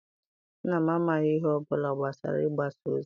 Nna m amaghị ihe ọ bụla gbasara igbasa ozi.